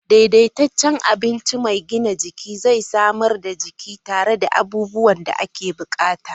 Daidaitaccen abinci mai gina jiki zai samar da jiki tare da abubuwan gina jiki da ake bukata.